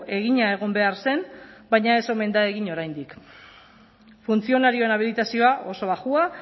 egina egon behar zen baina ez omen da egin oraindik funtzionarioen habilitazioa oso baxua